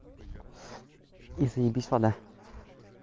и заибись вода